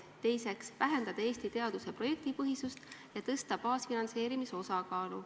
Teiseks, vähendada Eesti teaduse projektipõhisust ja tõsta baasfinantseerimise osakaalu.